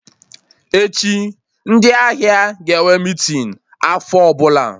Echi, ndị ahịa ga-enwe meeting afọ ọbụla